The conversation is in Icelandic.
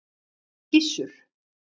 Gissur